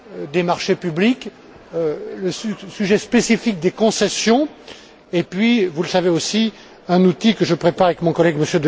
des marchés publics, le sujet spécifique des concessions, puis, vous le savez aussi, un outil que je prépare avec mon collègue, M.